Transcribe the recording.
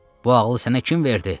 bu ağılı sənə kim verdi?